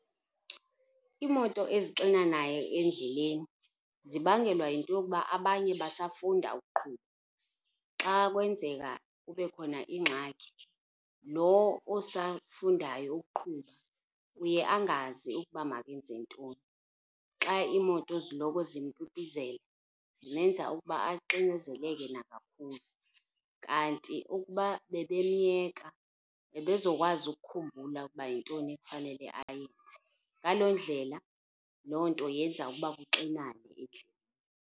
Iimoto ezixinanayo endleleni zibangelwa yinto yokuba abanye basafunda ukuqhuba, xa kwenzeka kube khona ingxaki loo osafundayo ukuqhuba uye angazi ukuba makenze ntoni. Xa iimoto ziloko zimpipizela zimenza ukuba axinezeleke nangakumbi. Kanti ukuba bebemyeka ebezokwazi ukukhumbula ukuba yintoni ekufanele ayenze. Ngaloo ndlela loo nto yenza ukuba kuxinane endleleni.